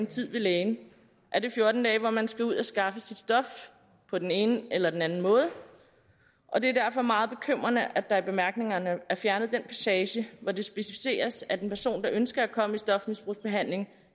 tid ved lægen er det fjorten dage hvor man skal ud at skaffe sit stof på den ene eller anden måde og det er derfor meget bekymrende at der i bemærkningerne er fjernet den passage hvor det specificeres at en person der ønsker at komme i stofmisbrugsbehandling